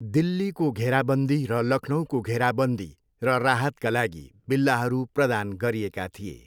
दिल्लीको घेराबन्दी र लखनऊको घेराबन्दी र राहतका लागि बिल्लाहरू प्रदान गरिएका थिए।